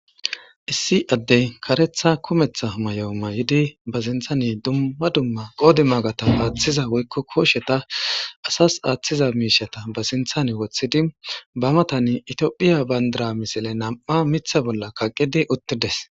Issi addey kareththa kumeththa mayo mayidi ba sinththani dumma dumma qoodimaga thamaarissiza woykko kooshetha asas aaththiza miishshatha ba sinththani woththidi ba mathani ithiophiya banddira misile nam7a miththa bolla kaqqidi uththi des.